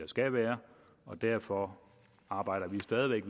skal være og derfor arbejder vi stadig væk